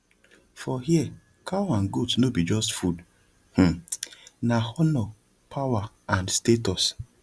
for here cow and goat no be just food um na honor power and status